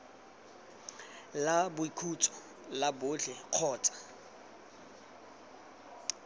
la boikhutso la botlhe kgotsa